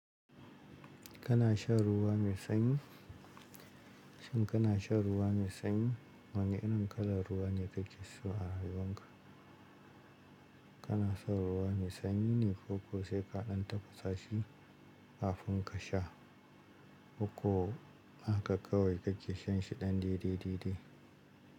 Kana shan ruwa mai sanyi? Shin kana shan ruwa mai sanyi? Wane irin kalar ruwa ne kake so a rayuwarka? Kana shan ruwa mai sanyi ne ko ko sai ka ɗan tafasa shi kafin ka sha? Ko a haka kawai kake shan shi ɗan dede dede?